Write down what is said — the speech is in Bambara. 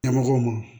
Ɲɛmɔgɔw ma